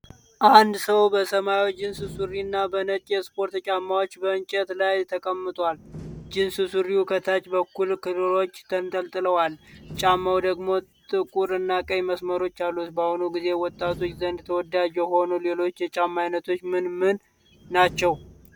አንድ ሰው በሰማያዊ ጂንስ ሱሪና በነጭ የስፖርት ጫማዎች በእንጨት ላይ ተቀምጧል። ጂንስ ሱሪው ከታች በኩል ክሮች ተንጠልጥለዋል፤ ጫማው ደግሞ ጥቁር እና ቀይ መስመሮች አሉት። በአሁኑ ጊዜ ወጣቶች ዘንድ ተወዳጅ የሆኑ ሌሎች የጫማ ዓይነቶች ምን ምን ናቸው?